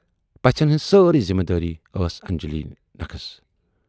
پژھٮ۪ن ہٕنز سٲری ذِمہٕ دٲری ٲسۍ انجلی نکھس۔